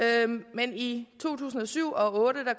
men i to tusind og syv og otte